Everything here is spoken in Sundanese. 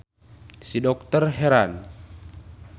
Si dokter heran.